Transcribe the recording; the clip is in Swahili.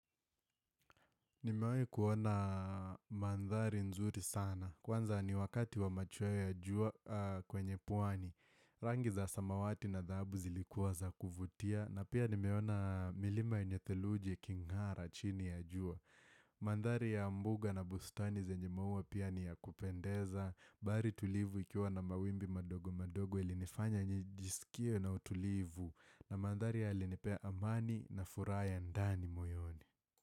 Nimewai kuona mandhari nzuri sana. Kwanza ni wakati wa machwoe ya jua kwenye pwani. Rangi za samawati na dhahabu zilikuwa za kuvutia. Na pia nimeona milima yenye theluji iking'ara chini ya jua. Mandhari ya mbuga na bustani zenye mua pia ni ya kupendeza. Bahari tulivu ikiwa na mawimbi madogo madogo ilinifanya njisikie na utulivu. Na mandhari ya alinepea amani na furaha ya ndani moyoni.